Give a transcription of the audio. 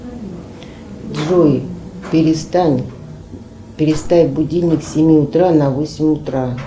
джой перестань переставь будильник с семи утра на восемь утра